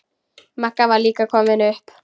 Magga var líka komin upp.